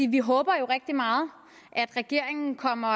vi håber jo rigtig meget at regeringen kommer